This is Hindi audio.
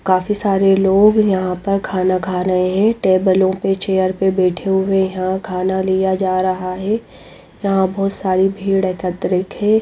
काफी सारे लोग यहाँ पर खाना खा रहे हैं टेबलों पे चेयर पे बैठे हुए यहाँ खाना लिया जा रहा है यहाँ बहुत सारी भीड़ एकत्रित है।